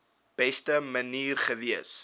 beste manier gewees